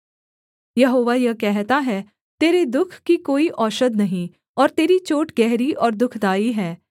यहोवा यह कहता है तेरे दुःख की कोई औषध नहीं और तेरी चोट गहरी और दुःखदाई है